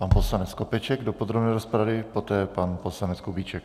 Pan poslanec Skopeček do podrobné rozpravy, poté pan poslanec Kubíček.